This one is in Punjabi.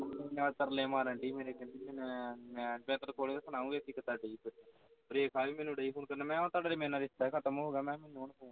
ਮੇਰੇ ਤਰਲੇ ਮਾਰਨ ਡਈ ਸੀ ਮੇਰੇ ਕਹਿੰਦੀ ਮੈਂ ਤੇਰੇ ਕੋਲੋਂ ਸੁਹਣਾ ਗੀ ਵੇਖੀਂ ਕਿਤਰਾ ਡਰੀਏ ਰੇਖਾ ਵੀ ਡਈ ਸੀ ਮੈਨੂੰ phone ਕਰਨ ਮੈਂ ਕਿਹਾ ਤੁਹਾਡਾ ਤੇ ਰਿਸ਼ਤਾ ਵੀ ਖਤਮ ਹੋ ਗਿਆ ਮੇਰੇ ਨਾਲ਼